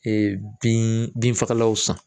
bin bin fagalanw san